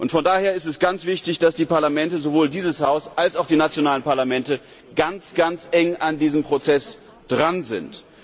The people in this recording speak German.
Von daher ist es ganz wichtig, dass die Parlamente sowohl dieses Haus als auch die nationalen Parlamente ganz eng an diesem Prozess dran sind.